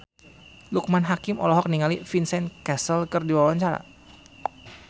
Loekman Hakim olohok ningali Vincent Cassel keur diwawancara